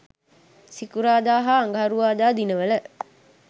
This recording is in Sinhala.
සිකුරාදා හා අඟහරුවාදා දිනවල